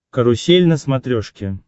карусель на смотрешке